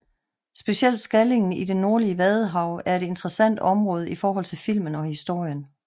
Specielt Skallingen i det nordlige Vadehav er et interessant område i forhold til filmen og historien